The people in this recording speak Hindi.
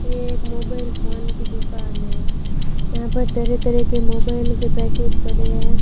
ये एक मोबाइल फोन की दुकान है यहां पर तरह तरह के मोबाइल के पैकेट पड़े हैं।